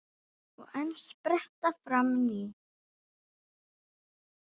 Og enn spretta fram ný.